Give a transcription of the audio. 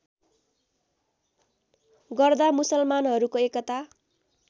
गर्दा मुसलमानहरूको एकता